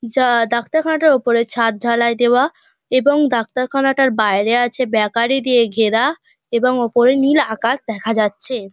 যা ডাক্তার খানাটা ওপরে ছাদ ঢালাই দেওয়া। এবং ডাক্তার খানাটার বাইরে আছে বেকারি